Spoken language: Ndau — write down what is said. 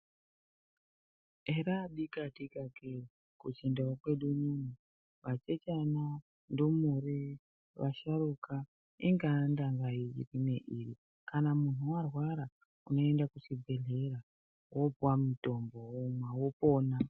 Hera dikatika kee kuchindau kwedu unou asikana ndumure vasharuka ingandanga yeipi neiri kana munthu warwara unoenda kuchibedhlera wopuwa mutombo womwa wopona.